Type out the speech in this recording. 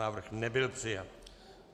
Návrh nebyl přijat.